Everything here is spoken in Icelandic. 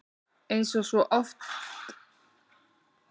Eins og svo oft!